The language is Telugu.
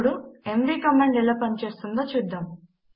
ఇప్పుడు ఎంవీ కమాండ్ ఎలా పని చేస్తుందో చూద్దాము